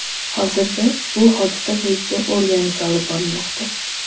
Hozirda bu hodisa bo‘yicha o‘rganish olib borilmoqda.